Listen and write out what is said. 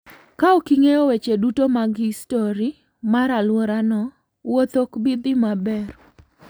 Kaok ing'eyo weche duto mag histori mar alworano, wuoth ok bi dhi maber.